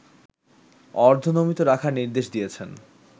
অর্ধনমিত রাখার নির্দেশ দিয়েছেন